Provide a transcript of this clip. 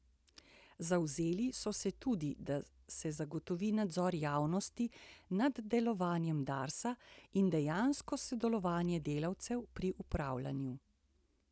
Zavzeli so se tudi, da se zagotovi nadzor javnosti nad delovanjem Darsa in dejansko sodelovanje delavcev pri upravljanju.